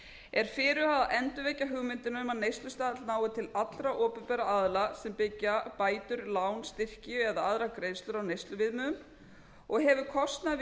er fyrirhugað að endurvekja hugmyndina um að neyslustaðall nái til allra opinberra aðila sem byggja bætur lán styrki eða aðrar greiðslur á neysluviðmiðum og hefur kostnaður við